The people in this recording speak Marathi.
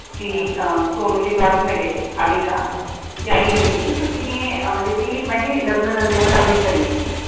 ती अं सोनूची classmate ए आविका तिची आई भेटली तर तिनी म्हणजे ती म्हणजी लग्न झाल तेव्हा दहावीच झाली होती.